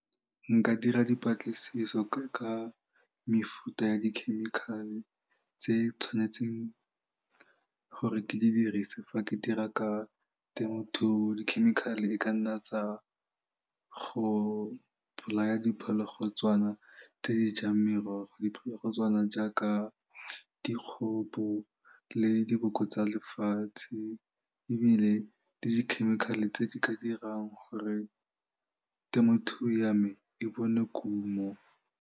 Nka dira dipatlisiso ka mefuta ya di-chemical-e tse tshwanetseng gore ke dirise fa ke dira ka temothuo di-chemical-e e ka nna tsa go bolaya diphologolotswana tse di jang merogo, diphologolotswana jaaka dikgopo le diboko tsa lefatshe ebile le di-chemical-e tse di ka dirang gore temothuo ya me e bone kuno.